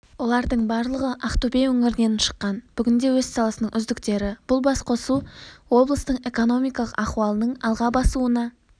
олардың барлығы ақтөбе өңірінен шыққан бүгінде өз саласының үздіктері бұл басқосу облыстың экономикалық ахуалының алға басуына